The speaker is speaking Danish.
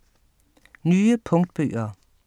Nye punktbøger